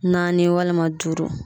Naani walima duuru.